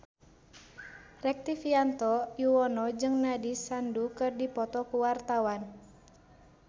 Rektivianto Yoewono jeung Nandish Sandhu keur dipoto ku wartawan